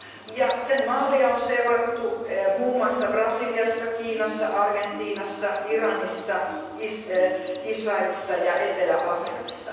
ja sen mallia on seurattu muun muassa Brasiliassa, Kiinassa, Argentiinassa, Iranissa, Israelissa ja Etelä Afrikassa.